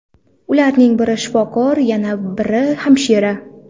Ularning biri shifokor va yana biri hamshira.